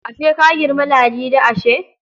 Ashe ka girmi Ladi ashe?